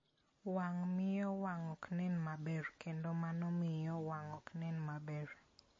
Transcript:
wang' miyo wang' ok nen maber kendo mano miyo wang' ok nen maber.